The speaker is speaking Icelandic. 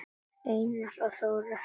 Einar og Þóra skildu.